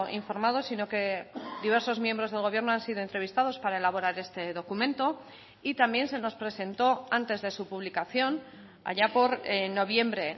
informados sino que diversos miembros del gobierno han sido entrevistados para elaborar este documento y también se nos presentó antes de su publicación allá por noviembre